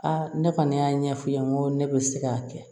ne kɔni y'a ɲɛf'i ye n ko ne bɛ se k'a kɛ